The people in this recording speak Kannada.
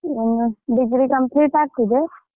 ಹ degree complete ಆಗ್ತದೆ.